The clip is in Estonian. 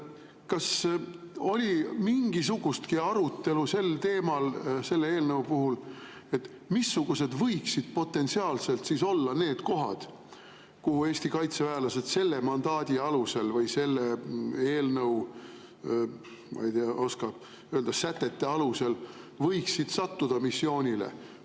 Kas oli mingisugustki arutelu sel teemal selle eelnõu puhul, missugused võiksid potentsiaalselt olla need kohad, kuhu Eesti kaitseväelased selle mandaadi alusel või selle eelnõu – ma ei tea, ei oska öelda – sätete alusel võiksid missioonile sattuda?